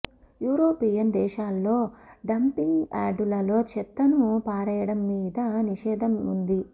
European దేశాల్లో dumping యార్డులలో చెత్తను పారేయడం మీద నిషేధం ఉంది